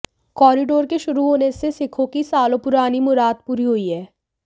corridor के शुरू होने से सिखों की सालों पुरानी मुराद पूरी हुई है